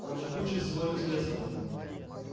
там же куча всего интересного